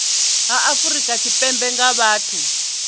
ha afrika tshipembe nga vhathu